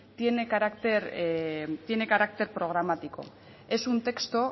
tiene carácter programático es un texto